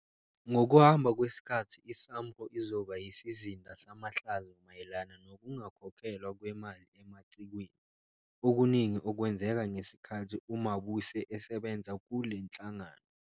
Ngokuhamba kwesikhathi iSAMRO izoba yisizinda samahlazo mayelana nokungakhokhelwa kwemali emacikweni, okuningi okwenzeka ngesikhathi uMabuse esebenza kule nhlangano.